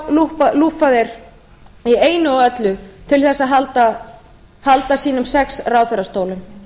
lúffa þeir í einu og öllu til þess að halda sínum sex ráðherrastólum